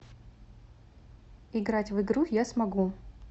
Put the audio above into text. играть в игру я смогу